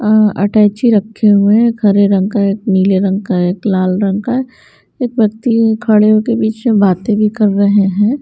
Attache रखे हुए हैं एक हरे रंग का एक नीले रंग का एक लाल रंग का एक व्यक्ति खड़े होकर बीच में बातें भी कर रहे हैं।